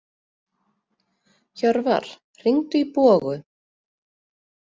Hjörvar, hringdu í Bogu.